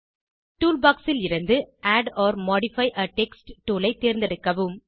toolbox லிருந்து add or modify a text tool ஐ தேர்ந்தெடுக்கவும்